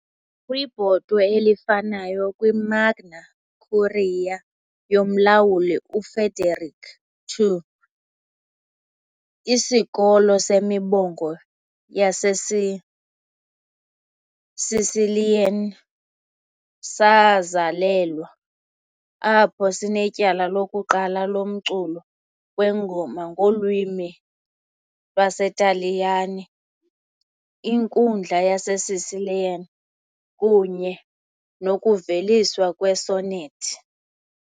Kwibhotwe elifanayo, kwiMagna Curia yoMlawuli uFrederick II, isikolo semibongo yaseSicilian sazalelwa, apho sinetyala lokuqala lomculo wengoma ngolwimi lwesiTaliyane, inkundla yaseSicilian, kunye nokuveliswa kwe- sonnet .